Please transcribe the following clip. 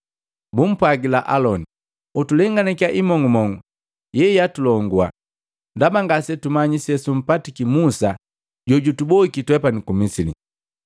Bumpwagila Aloni, ‘Utulenganakiya imong'umong'u yeyaatulongua, ndaba ngase tumanyi sesumpatiki Musa jojutuboiki twepani ku Misili.’